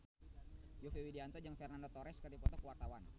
Yovie Widianto jeung Fernando Torres keur dipoto ku wartawan